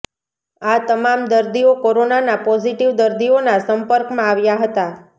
આ તમામ દર્દીઓ કોરોનાના પોઝિટિવ દર્દીઓના સંપર્કમાં આવ્યા હતા